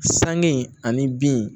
Sanŋe ani bin